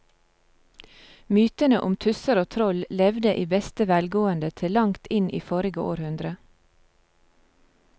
Mytene om tusser og troll levde i beste velgående til langt inn i forrige århundre.